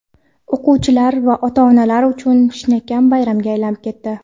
o‘quvchilar va ota-onalar uchun chinakam bayramga aylanib ketdi.